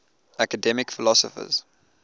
academic philosophers